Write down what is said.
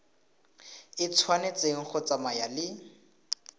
e tshwanetse go tsamaya le